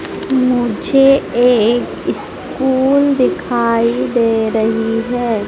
मुझे एक स्कूल दिखाई दे रही है।